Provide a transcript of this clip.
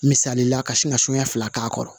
Misali la ka sin ka sonya k'a kɔrɔ